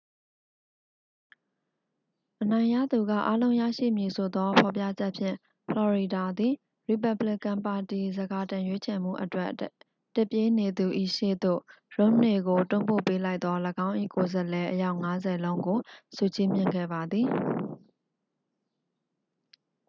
အနိုင်ရသူကအားလုံးရရှိမည်ဆိုသောဖော်ပြချက်ဖြင့် ဖလော်ရီဒါသည် ရီပက်ဘလီကန်ပါတီ ဆန်ခါတင်ရွေးချယ်မှုအတွက် တစ်ပြေးနေသူ၏ရှေ့သို့ ရွမ်နေကို တွန်းပို့ပေးလိုက်သော ၎င်း၏ကိုယ်စားလှယ်အယောက်ငါးဆယ်လုံးကို ဆုချီးမြှင့်ခဲ့ပါသည်